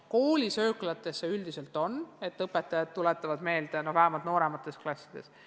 Koolisööklates on üldiselt nii, et õpetajad tuletavad kätepesu meelde, vähemalt nooremates klassides.